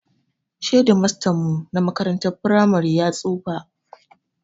Shedimastan mu na makarantar firamare ya tsufa